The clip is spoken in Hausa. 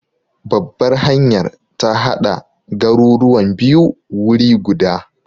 Babbar hanyar ta hada garuruwan biyu wuri guda.